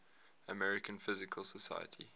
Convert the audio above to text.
american physical society